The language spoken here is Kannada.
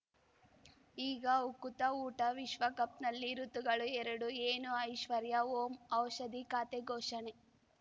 ಈಗ ಉಕುತ ಊಟ ವಿಶ್ವಕಪ್‌ನಲ್ಲಿ ಋತುಗಳು ಎರಡು ಏನು ಐಶ್ವರ್ಯಾ ಓಂ ಔಷಧಿ ಖಾತೆ ಘೋಷಣೆ